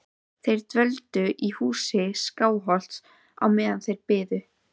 Þeir dvöldu í húsi Skálholts á meðan þeir biðu.